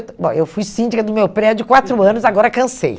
bom, eu fui síndica do meu prédio quatro anos, agora cansei.